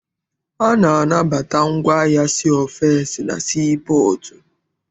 A na-anabata ngwaahịa si ofesi na sii pọọtụ.